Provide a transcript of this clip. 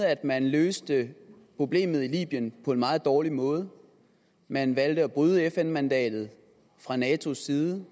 at man løste problemet i libyen på en meget dårlig måde man valgte at bryde fn mandatet fra natos side